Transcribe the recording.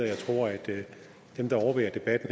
jeg tror at dem der overværer debatten